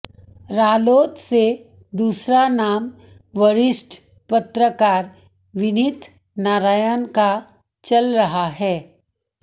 रालोद से दूसरा नाम वरिष्ठ पत्रकार विनीत नारायण का चल रहा है